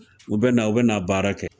U bɛna, u bɛna a baara kɛ